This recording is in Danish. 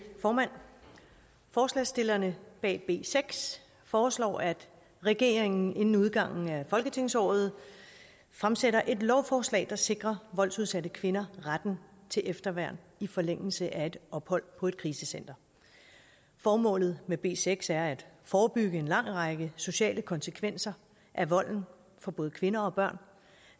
formand forslagsstillerne bag b seks foreslår at regeringen inden udgangen af folketingsåret fremsætter et lovforslag der sikrer voldsudsatte kvinder retten til efterværn i forlængelse af et ophold på et krisecenter formålet med b seks er at forebygge en lang række sociale konsekvenser af volden for både kvinder og børn